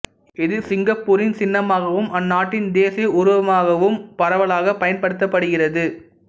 இது சிங்கப்பூரின் சின்னமாகவும் அந்நாட்டின் தேசிய உருவகமாகவும் பரவலாகப் பயன்படுத்தப்படுகிறது